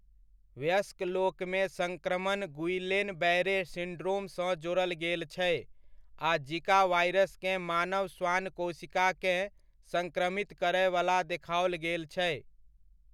वयस्क लोकमे सङ्क्रमण गुइलेन बैरे सिन्ड्रोमसँ जोड़ल गेल छै आ जिका वायरसकेँ मानव श्वान कोशिकाकेँ सङ्क्रमित करयवला देखाओल गेल छै।